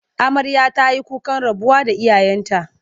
Amarya ta yi kukan rabuwa da iyayenta.